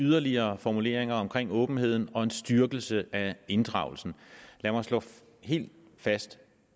yderligere formuleringer omkring åbenheden og en styrkelse af inddragelsen lad mig slå helt fast